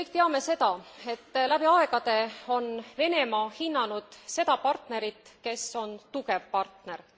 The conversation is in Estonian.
Kolleegid, me kõik teame seda, et läbi aegade on Venemaa hinnanud seda partnerit, kes on tugev partner.